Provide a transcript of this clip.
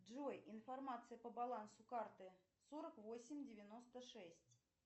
джой информация по балансу карты сорок восемь девяносто шесть